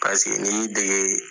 Paseke n'i y'i dege